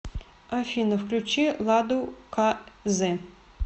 афина включи ладу ка зэ